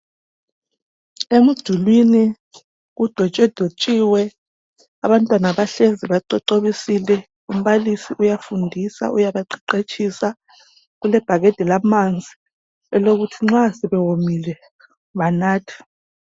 Emdulwini kudwetshwadwetshiwe abantwana bahlezi bacocobisile umbalisi uyafundisa uyabaqeqetshisa. Kulebhakede lamanzi lokuthi nxa sebewomile banathe.